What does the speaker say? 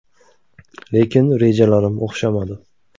Lekin rejalarim o‘xshamadi.